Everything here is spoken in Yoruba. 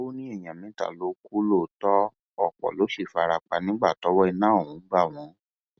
ó ní èèyàn mẹta ló kù lóòótọ ọpọ ló sì fara pa nígbà tọwọ iná ọhún bá wọn